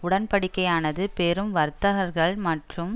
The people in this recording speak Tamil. உடன்படிக்கையானது பெரும் வர்த்தகர்கள் மற்றும்